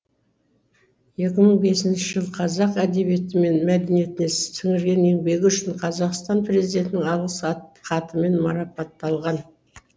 екі мың бесінші жылы қазақ әдебиеті мен мәдениетіне сіңірген еңбегі үшін қазақстан президентінің алғыс хатымен марапатталған